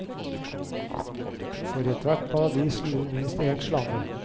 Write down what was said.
For i ethvert paradis lurer minst én slange.